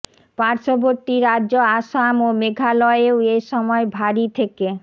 পার্শ্ববর্তী রাজ্য আসাম ও মেঘালয়েও এ সময় ভারী থেকে